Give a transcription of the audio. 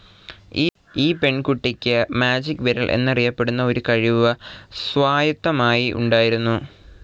ഈ പെൺകുട്ടിക്ക് മാജിക്‌ വിരൽ എന്നറിയപ്പെടുന്ന ഒരു കഴിവ് സ്വായത്തമായി ഉണ്ടായിരുന്നു.